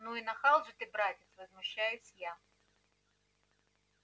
ну и нахал же ты братец возмущаюсь я